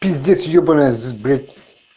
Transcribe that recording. здесь ебанный б